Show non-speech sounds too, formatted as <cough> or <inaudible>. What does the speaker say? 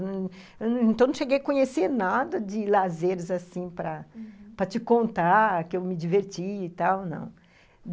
<unintelligible> Então, não cheguei a conhecer nada de lazeres assim, uhum, para te contar que eu me diverti e tal, não.